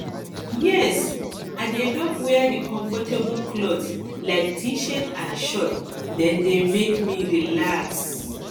yes i dey love wear di comfortable clothes like tshirt and shorts dem dey make me relax